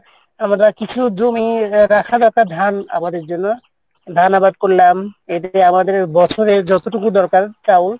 আমরা কিছু জমি আমাদের জন্য ধান আবাদ করলাম আমাদের বছরে যেটুকু চাউল